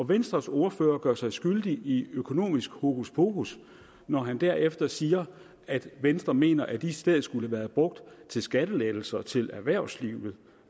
venstres ordfører gør sig skyldig i økonomisk hokuspokus når han derefter siger at venstre mener at de i stedet skulle have været brugt til skattelettelser til erhvervslivet